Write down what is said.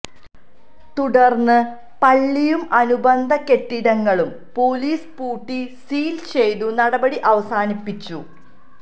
തുടര്ന്ന് പള്ളിയും അനുബന്ധ കെട്ടിടങ്ങളും പോലീസ് പൂട്ടി സീല് ചെയ്തു നടപടി അവസാനിപ്പിച്ചു